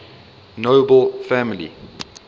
nobel family